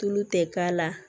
Tulu tɛ k'a la